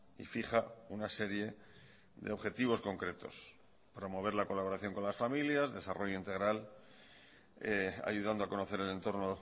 y fija una serie de objetivos concretos promover la colaboración con las familias desarrollo integral ayudando a conocer el entorno